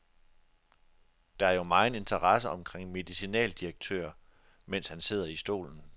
Der er jo megen interesse omkring en medicinaldirektør, mens han sidder i stolen.